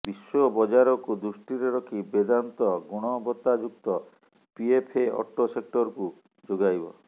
ବିଶ୍ୱ ବଜାରକୁ ଦୃଷ୍ଟିରେ ରଖି ବେଦାନ୍ତ ଗୁଣବତାଯୁକ୍ତ ପିଏଫଏ ଅଟୋ ସେକ୍ଟରକୁ ଯୋଗାଇବ